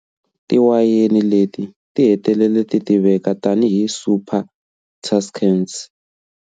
Tiwayeni leti ti hetelele titiveka tani hi" Super Tuscans".